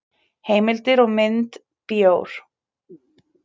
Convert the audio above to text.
Heimildir og mynd Bjór.